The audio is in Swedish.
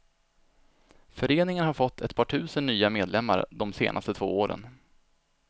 Föreningen har fått ett par tusen nya medlemmar de senaste två åren.